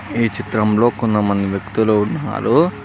ఈ చిత్రంలో కొంతమంది వ్యక్తులు ఉన్నారు.